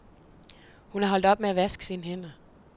Hun er holdt op med at vaske sine hænder.